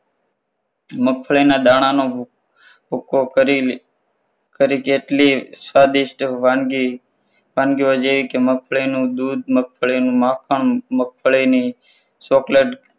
મગફળીના દાણા નો ભુ~ભુક્કો કરીને કરી કેટલીક સ્વાદિષ્ટ વાનગી વાનગીઓ જેવી કે મગફળીનું દૂધ મગફળીનું માખણ મગફળીનું chocolate